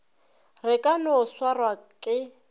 re ka no swarwa ke